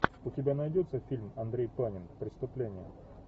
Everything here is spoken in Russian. у тебя найдется фильм андрей панин преступление